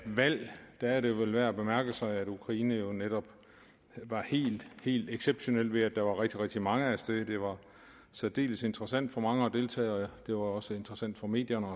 valg er det vel værd at bemærke sig at ukraine jo netop var helt helt exceptionel ved at der var rigtig rigtig mange af sted det var særdeles interessant for mange at deltage og det var også interessant for medierne